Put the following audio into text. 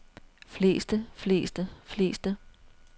fleste fleste fleste